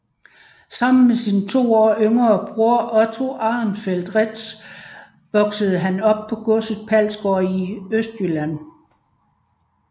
Sammen med sin to år yngre bror Otto Arenfeldt Reedtz voksede han op på godset Palsgaard i Østjylland